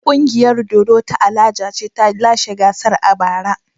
Ƙungiyar dodo ta Alaja ce ta lashe gasar a bara.